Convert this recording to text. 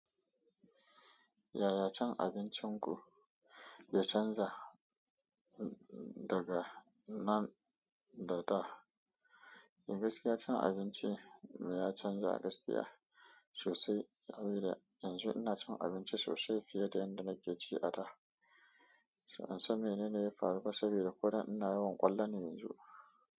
Yaya cin abincin ku ya canza daga nan daga? Ingaskiya cin abinci ya canza gaskiya sosai sabida yanzu ina cin abinci sosai fiye da yadda nake ci a da. An san menene ya faru ba sabida ko da ina yawan ƙwallone yanzu?